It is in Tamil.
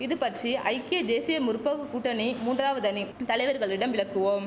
இதுபற்றி ஐக்கிய தேசிய முற்போக்கு கூட்டணி மூன்றாவது அணி தலைவர்களிடம் விளக்குவோம்